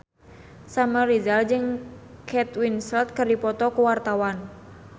Samuel Rizal jeung Kate Winslet keur dipoto ku wartawan